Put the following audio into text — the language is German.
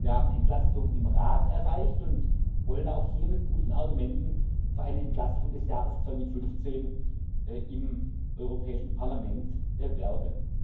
Wir haben im Rat Entlastung erreicht und wollen auch hier mit guten Argumenten für eine Entlastung des Jahres 2015 im Europäischen Parlament werben.